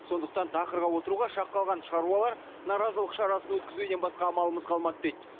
сондықтан тақырға отыруға шақ қалған шаруалар наразылық шарасын өткізуден басқа амалымыз қалмады дейді